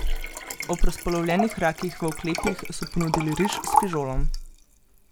Ob razpolovljenih rakih v oklepih so ponudili riž s fižolom.